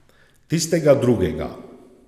Tistega drugega.